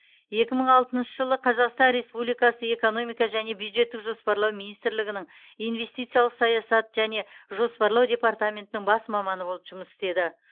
екі мың алтыншы жылы қазақстан республикасы экономика және бюджеттік жоспарлау министрлігінің инвестициялық саясат және жоспарлау департаментінің бас маманы болып жұмыс істеді